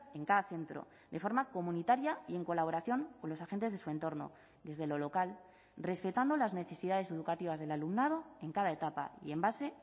en cada centro de forma comunitaria y en colaboración con los agentes de su entorno desde lo local respetando las necesidades educativas del alumnado en cada etapa y en base